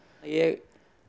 ég